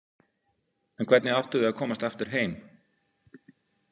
En hvernig áttu þau að komast aftur heim?